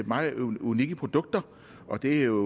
meget unikke produkter og det er